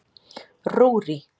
Rúrí